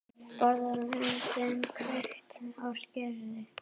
Borðum lömbin, hvekkt á skeri.